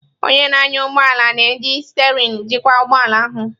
Onye na-anya ụgbọ ala na-eji sterein jikwa ụgbọ ala ahụ.